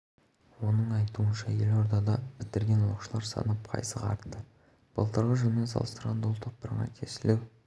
жетістіктері біршама артты олар ғылыми жобалар бойынша халықаралық республикалық олимпиадалар мен сайыстарда жеңіске жетті қатысушының